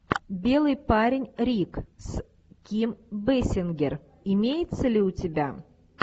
белый парень рик с ким бейсингер имеется ли у тебя